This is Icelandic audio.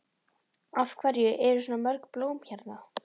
Af hverju eru svona mörg blóm hérna?